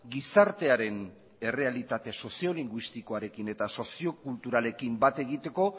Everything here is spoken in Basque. gizartearen errealitate soziolinguistikoarekin eta soziokulturalekin bat egiteko